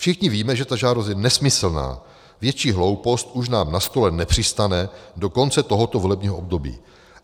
Všichni víme, že ta žádost je nesmyslná, větší hloupost už nám na stole nepřistane do konce tohoto volebního období.